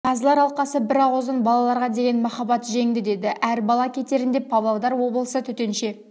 қазылар алқасы бір ауыздан балаларға деген махаббат жеңді деді әр бала кетерінде павлодар облысы төтенше